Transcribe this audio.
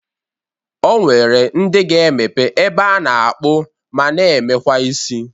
O nwere ndị ga-emepe ebe a na-akpụ ma na-emekwa isi.